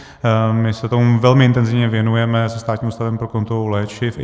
My se tomu velmi intenzivně věnujeme se Státním ústavem pro kontrolu léčiv.